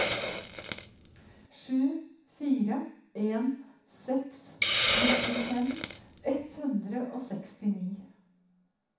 sju fire en seks nittifem ett hundre og sekstini